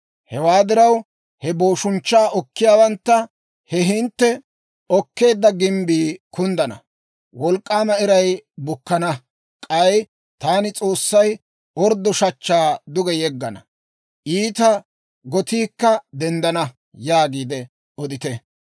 Hewaa diraw, he booshunchchaa okkiyaawantta, ‹He hintte okkeedda gimbbii kunddana! Wolk'k'aama iray bukkana; k'ay taani S'oossay orddo shachchaa duge yeggana; iita gotiikka denddana› yaagiide odite.